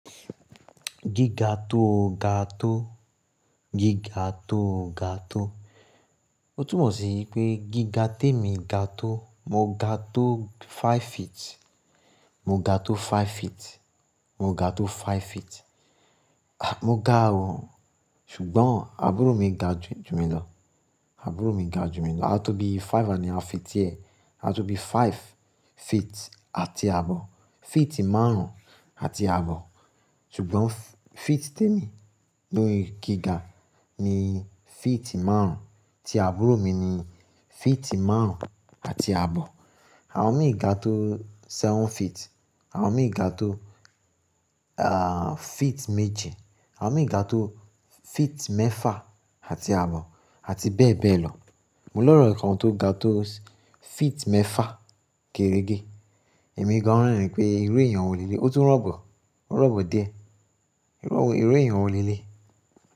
Giga to ga to, giga to ga to. O tún mọ̀ sí pé giga tèmi ga to, mo ga to five feet, mo ga to five feet, mo ga to five feet. Mo ga o, ṣùgbọ́n àbúrò mi ga jù mí lọ, àbúrò mi ga jù mí lọ. A tó bí five and half feet diẹ, a tó bí five feet àti àbọ̀. Feet márùn-ún àti àbọ̀. Ṣùgbọ́n feet tèmi ló ri giga, ni feet márùn-ún, tí àbúrò mi ni feet márùn-ún àti àbọ̀. Awon mí ga to seven feet, awon mi ga to ah feet méje, awon mi ga to feet mẹ́fa àti àbọ̀ àti bẹ́ẹ̀ bẹ́ẹ̀ lọ. Mo lore kan tó ga to feet mẹ́fa géérége, èmi gan-an rin pé irú èèyàn wo lé léyi? Ó tún rọ̀bọ, ó rọ̀bọ díẹ̀. Irú èèyàn wo lé lé?